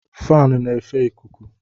Faanụ na efe ịkụkụ